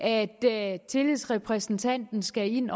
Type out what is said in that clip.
at tillidsrepræsentanten skal ind